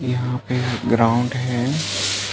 यहाँ पे ग्राउंड हैं ।